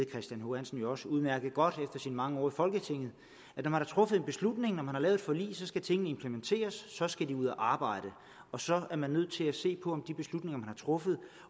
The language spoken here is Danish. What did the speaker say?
christian h hansen jo også udmærket godt efter sine mange år i folketinget at når man har truffet en beslutning når man har lavet et forlig skal tingene implementeres så skal de ud at arbejde og så er man nødt til at se på om de beslutninger man har truffet